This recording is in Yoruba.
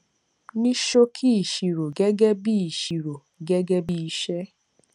ní ṣòkì ìṣirò gégé bí ìṣirò gégé bí iṣé